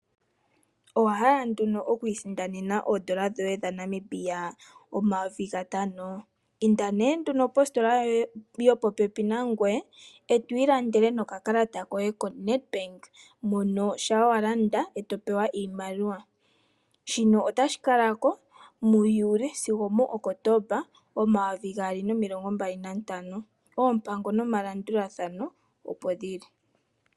Owahala nduno oku isindanena oondola dhoye dha Namibia omayovi gatano inda nee nena positola yo popepi nangoye eto ilandele nokakalata koye ko Nedbank munl shampa walanda eto pewa iimaliwa, shino otashi kalako mu juuli sigo okotoomba omayovi gaali nomilongombali nantano. Oompango nomalandulathano opo dhili.